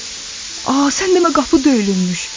A sən demə qapı döyülürmüş.